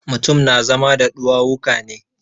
Mutum na zama da ɗuwawuka ne.